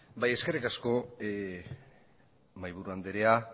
eskerrik asko mahaiburu andrea